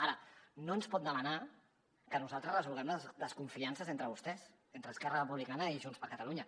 ara no ens pot demanar que nosaltres resolguem les desconfiances entre vostès entre esquerra republicana i junts per catalunya